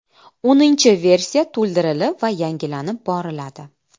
O‘ninchi versiya to‘ldirilib va yangilanib boriladi.